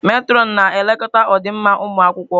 Metrọnụ na-elekọta ọdịmma ụmụ akwụkwọ.